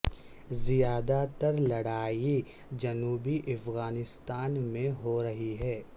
زیادہ تر لڑائی جنوبی افغانستان میں ہو رہی ہے